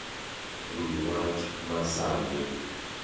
wi wach masani